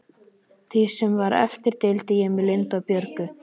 Því sem var eftir deildi ég með Lindu og Björgu.